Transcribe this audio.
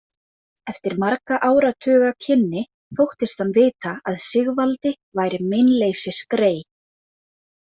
Eftir margra áratuga kynni þóttist hann vita að Sigvaldi væri meinleysisgrey.